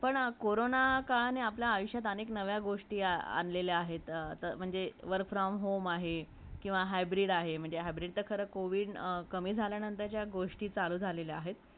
पण करोना काळाने आपल्या आयुष्यात अनेक नव्या गोष्टी आलेला आहेत आता म्हणजे work from home आहे किवा hybrid आहे म्हणजे hybrid ते खरं covid कमी झाल्या नंतरच्या गोष्टी चालू झालेला आहेत